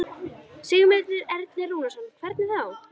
Sigmundur Ernir Rúnarsson: Hvernig þá?